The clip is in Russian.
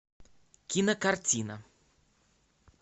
кинокартина